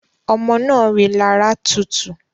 Ọmọ naa rilara tutu